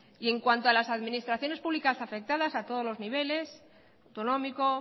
y en cuanto a las administraciones públicas afectadas a todos los niveles autonómico